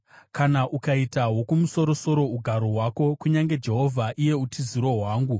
Kana ukaita Wokumusoro-soro ugaro hwako, kunyange Jehovha, iye utiziro hwangu,